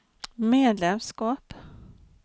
medlemskap